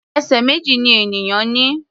Ẹsẹ̀ méjì ni ènìyàn ní.